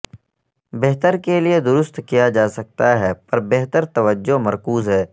بہتر کے لئے درست کیا جا سکتا ہے پر بہتر توجہ مرکوز ہے